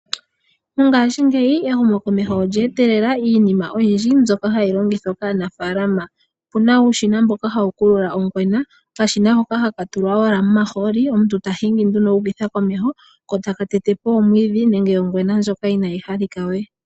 Mongashingeyi ehumokomeho lye etelela iinima oyindji mbyoka hayi longithwa kaanafaalama. Opuna wo uushina mboka hawu kulula ongwena. Okashina owala hoka haka tulwa omahooli omuntu ta hingi nduno u ukitha komeho ko taka tete po omwiidhi nenge ongwena ndjoka inaayi halika we.